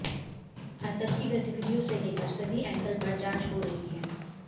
आतंकी गतिविधियों से लेकर सभी एंगल पर जांच हो रही है